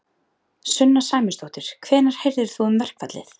Sunna Sæmundsdóttir: Hvenær heyrðir þú um verkfallið?